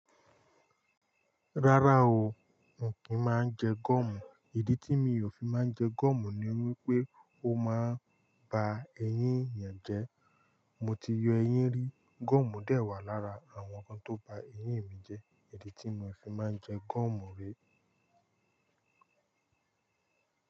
Rárá o, mi ò kí máa ń jẹ gúọ̀mù. Ìdí tí mi ò fi máa ń jẹ gúọ̀mù ni wípé ó máa ń ba eyín èèyàn jẹ́. Mo ti yọ eyín rí, gúọ̀mù dà wà lára àwọn nnkan tó ba eyín mi jẹ́, ìdí tí mo fi máa ń jẹ gúọ̀mù rí.